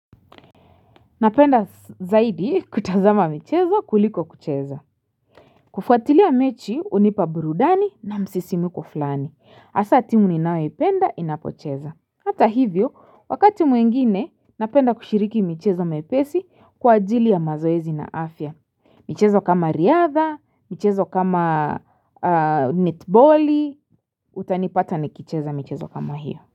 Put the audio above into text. Napenda zaidi kutazama michezo kuliko kucheza. Kufuatilia mechi hunipa burudani na msisimuko fulani. Hasa timu ninayoipenda inapocheza. Hata hivyo, wakati mwingine napenda kushiriki michezo mepesi kwa ajili ya mazoezi na afya. Mchezo kama riadha, mchezo kama netboli, utanipata nikicheza michezo kama hiyo.